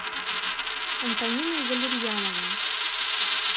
антониной валерьяновной